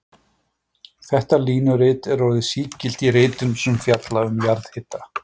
Þetta línurit er orðið sígilt í ritum sem fjalla um jarðhita.